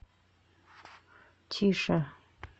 тише